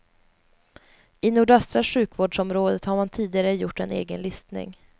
I nordöstra sjukvårdsområdet har man tidigare gjort en egen listning.